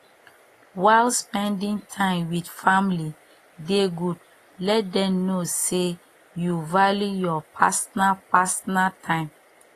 while spending time with family dey good let them know sey you value your personal personal time